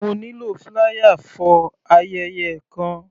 Mo nílò flier for ayẹyẹ kan.